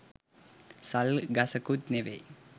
“සල්” ගසකුත් නෙවෙයි